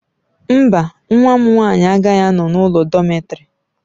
Mba, nwa m nwanyị agaghị anọ n'ụlọ dọmetịrị